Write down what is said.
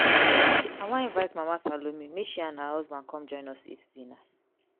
i wan invite mama salome make she and her husband come join us eat dinner.